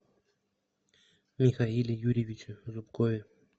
михаиле юрьевиче зубкове